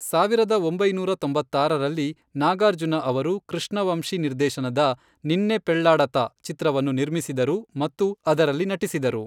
ಸಾವಿರದ ಒಂಬೈನೂರ ತೊಂಬತ್ತಾರರಲ್ಲಿ, ನಾಗಾರ್ಜುನ ಅವರು ಕೃಷ್ಣ ವಂಶಿ ನಿರ್ದೇಶನದ ನಿನ್ನೆ ಪೆಳ್ಲಾಡತಾ ಚಿತ್ರವನ್ನು ನಿರ್ಮಿಸಿದರು ಮತ್ತು ಅದರಲ್ಲಿ ನಟಿಸಿದರು.